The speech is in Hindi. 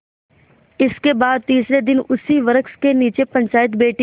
इसके बाद तीसरे दिन उसी वृक्ष के नीचे पंचायत बैठी